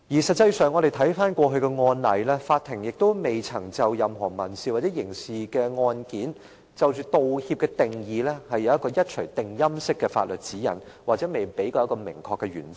實際上，我們回顧過去的案例，法庭亦未曾在任何民事或刑事案件，就着"道歉"的定義，提出一錘定音式的法律指引，也未曾提供一個明確的原則。